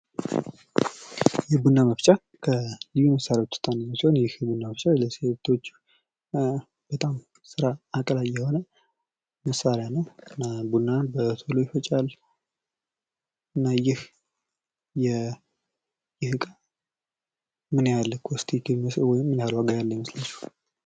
የቡና መፍጫ ከልዩ ልዩ መሳሪያዎች ዉስጥ አንዱ ሲሆን ይህ ቡና መፍጫ ለሴቶች በጣም ስራ አቅላይ የሆነ መሳሪያ ነዉ። እና ቡናን በቶሎ ይፈጫል። ይህ እቃ ምን ያህል ዋጋ ያለዉ ይመሰሰላችኋል?